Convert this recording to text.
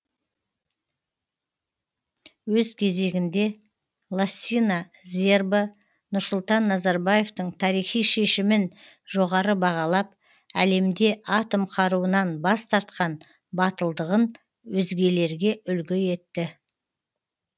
өз кезегінде лассина зербо нұрсұлтан назарбаевтың тарихи шешімін жоғары бағалап әлемде атом қаруынан бас тартқан батылдығын өзгелерге үлгі етті